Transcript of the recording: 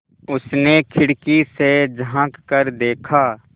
उसने खिड़की से झाँक कर देखा